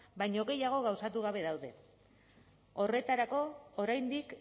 baino gehiago gauzatu gabe daude horretarako oraindik